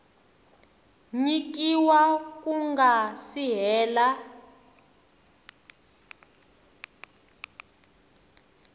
nyikiwa ku nga si hela